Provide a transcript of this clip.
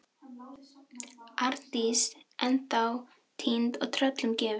Arndís ennþá týnd og tröllum gefin.